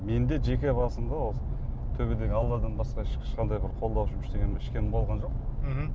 менің де жеке басымда осы төбедегі алладан басқа ешқандай бір қолдаушым ешкімім болған жоқ мхм